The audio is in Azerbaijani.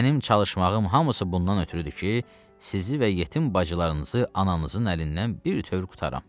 mənim çalışmağım hamısı bundan ötrüdür ki, sizi və yetim bacılarınızı ananızın əlindən bütöv qurtaram.